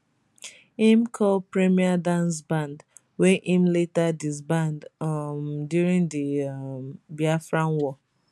im call premier dance band wey im later disband um during di um biafra war